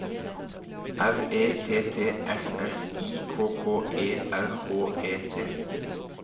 R E T T S S I K K E R H E T